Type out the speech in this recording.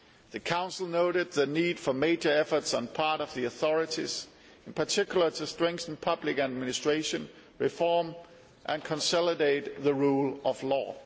The Council noted the need for major efforts on the part of the authorities, particularly to strengthen public administration reform and consolidate the rule of law.